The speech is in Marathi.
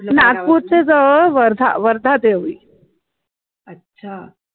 नागपूर च्या जवळ वर्धा, वर्धा देवळी